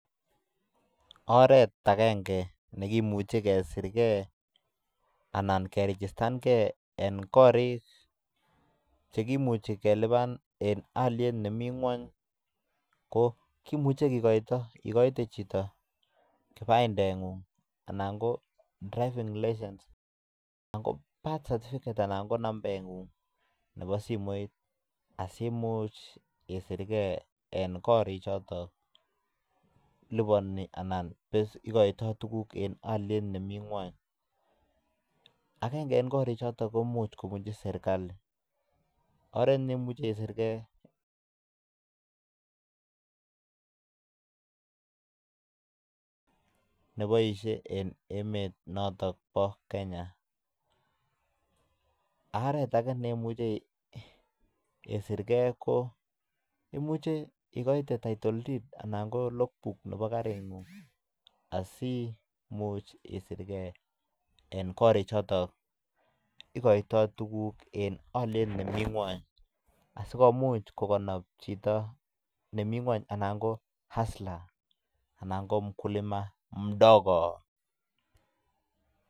Oret agenge nekimuch ekesir ge anan kerijistan ge en korik chekimuche kelipan en olyet nemi ng'weny ko kimuchi kigoito igoite chito kipandeng'ung, anan ko driving licence anan ko birth certificate anan ko nambeng'ung nebo simoit asimuch isirge en korik choton liponi anan igoitoi tuguk en olyet olyet nemit ng'wony. Agenge en korik choton komuch kobunchi serkalit. Oret neimuche isirke neboisie en emet noton bo Kenya. Oret age neimuche isirge ko imuche igoite title deed anan ko logbook nebo karing'ung asimuch iisirge en korik choto igoito tuguk en olyet nemi ng'wony.. Asikomuch kokonob chito nemi ng'weny anan ko hustler anan ko mkulia mdogo